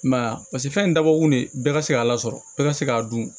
I m'a ye a paseke fɛn in dabɔ kun de bɛɛ ka se k'a lasɔrɔ bɛɛ ka se k'a dun